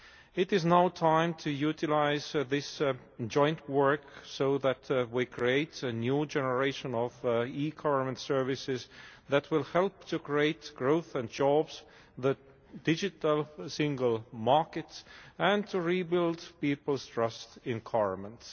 It is now time to utilise this joint work so that we create a new generation of eGovernment services that will help to create growth and jobs, the digital single markets and to rebuild people's trust in governments.